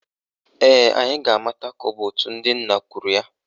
Ee, anyị ga-amata ka ọ bụ òtù ndị nna kwuru ya